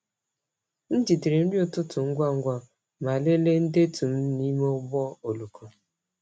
M jidere nri ụtụtụ ngwa ngwa ma lelee ndetu m n’ime ụgbọ oloko.